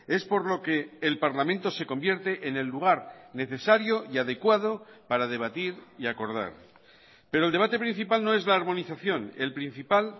es por lo que el parlamento se convierte en el lugar necesario y adecuado para debatir y acordar pero el debate principal no es la armonización el principal